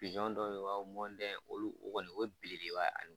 dɔ be yen u b'a fɔ ko olu kɔni o belebeleba